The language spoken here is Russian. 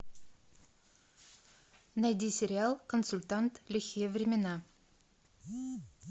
найди сериал консультант лихие времена